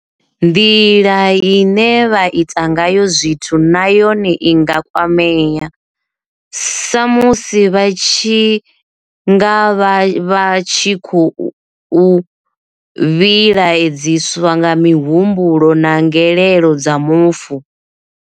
Nḓila ine vha ita ngayo zwithu na yone i nga kwamea, sa musi vha tshi nga vha vha tshi khou vhilaedziswa nga mihumbulo na ngelelo dza mufu.